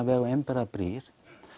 veg og einbreiðar brýr